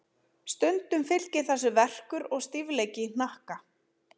Stundum fylgir þessu verkur og stífleiki í hnakka.